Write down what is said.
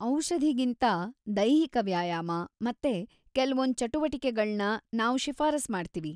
ಔಷಧಿಗಿಂತಾ ದೈಹಿಕ ವ್ಯಾಯಾಮ ಮತ್ತೆ ಕೆಲ್ವೊಂದ್ ಚಟುವಟಿಕೆಗಳ್ನ ನಾವ್‌ ಶಿಫಾರಸ್ ಮಾಡ್ತೀವಿ.